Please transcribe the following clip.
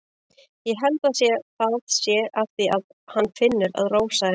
Ég held það sé af því að hann finnur að Rósa er ánægð.